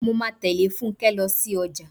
Mo máa tẹ̀lé Fúnkẹ́ lọ sí ọjà.